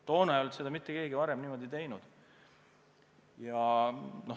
Toona ei olnud seda mitte keegi varem niimoodi teinud.